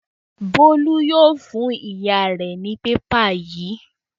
Bólú yóò fún ìyá rẹ̀ ní pépà yìí.